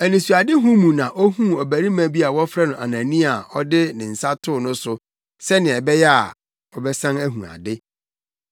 Anisoadehu mu na ohuu ɔbarima bi a wɔfrɛ no Anania a ɔde ne nsa too no so sɛnea ɛbɛyɛ a, ɔbɛsan ahu ade.”